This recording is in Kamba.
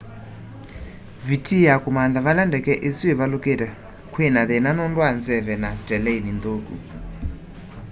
vitii ya kûmantha vala ndeke îsû ivaluke kwi na thina nundu wa nzeve na teleini nthuku